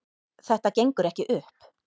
Þetta gengur ekki upp